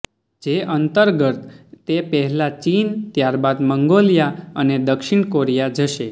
જે અંતર્ગત તે પહેલા ચીન ત્યારબાદ મંગોલિયા અને દક્ષિણ કોરિયા જશે